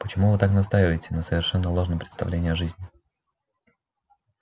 почему вы так настаиваете на совершенно ложном представлении о жизни